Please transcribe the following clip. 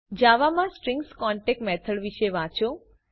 જાવામાં સ્ટ્રીંગ્સની concat method વિશે વાંચો